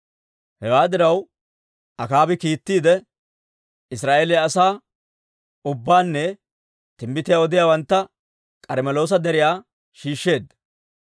Hewaa diraw, Akaabi kiittiide, Israa'eeliyaa asaa ubbaanne timbbitiyaa odiyaawantta K'armmeloosa Deriyaa shiishsheedda.